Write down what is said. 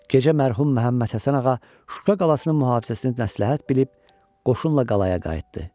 Gecə mərhum Məmmədhəsənağa Şuşa qalasının mühafizəsini məsləhət bilib, qoşunla qalaya qayıtdı.